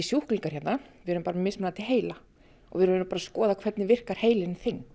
sjúklingar hérna við erum bara með mismunandi heila og við erum bara að skoða hvernig virkar heilinn þinn